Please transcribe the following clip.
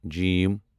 ج